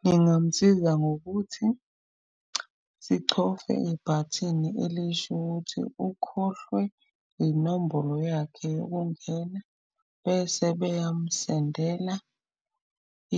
Ngingamsiza ngokuthi sichofe ibhathini elisho ukuthi ukhohlwe inombolo yakhe yokungena. Bese beyamsendela